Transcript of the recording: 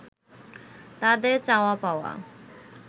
তাদের চাওয়া-পাওয়া